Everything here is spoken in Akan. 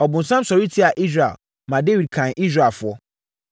Ɔbonsam sɔre tiaa Israel, ma Dawid kanee Israelfoɔ.